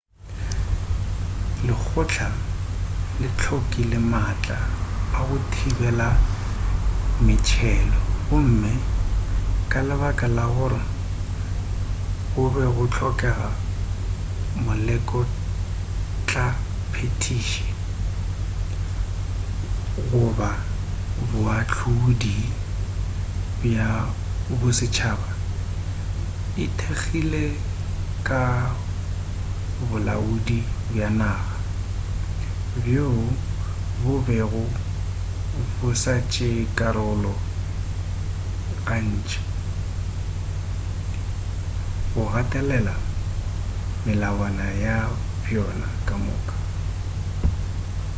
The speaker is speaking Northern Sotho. lekgotla le hlokile maatla a go thibela metšhelo gomme ka lebaka la gore go be go hlokega molekgotlaphethiši goba boahlodi bja bosetšhaba e ithekgile ka bolaodi bja naga bjoo bo bego bo sa tšee karolo gantši go gatelela melawana ya bjona kamoka